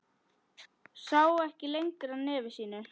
Sá ekki lengra nefi sínu.